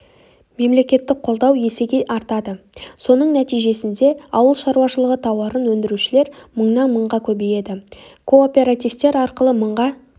мемлекеттік қолдау есеге артады соның нәтижесінде ауыл шаруашылығы тауарын өндірушілер мыңнан мыңға көбейеді кооперативтер арқылы мыңға